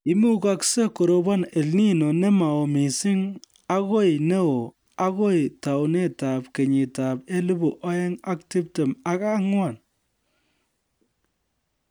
Imugaksei korobon EL Nino nemao missing akoi neo akoi tounetab kenyitab elebu oeng ak tiptem ak ang'wan